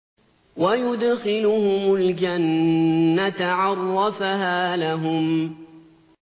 وَيُدْخِلُهُمُ الْجَنَّةَ عَرَّفَهَا لَهُمْ